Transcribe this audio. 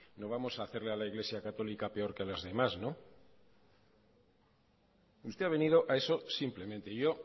no vamos a hacerle a la iglesia católica peor que a las demás no usted ha venido a eso simplemente y yo